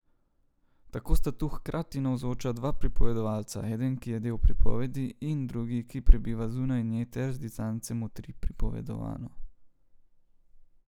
Tako sta tu hkrati navzoča dva pripovedovalca, eden, ki je del pripovedi, in drugi, ki prebiva zunaj nje ter z distance motri pripovedovano.